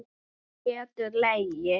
Hún getur legið.